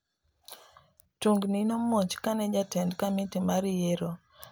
Tungni nomuoch kane jatend komiti mar yiero ne olando joloch ariyo e kom achiel.